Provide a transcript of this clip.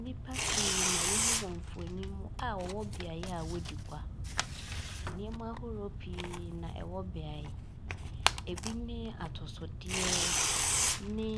Nnipa pii na yehu wɔ mfoni mu a wɔwɔ beaeɛ a wodi gua. Nneɛma ahorow pii na ɛwɔ beaeɛ hɔ, ebi ne atosodeɛ ne